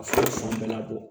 A fura bɛɛ labɔ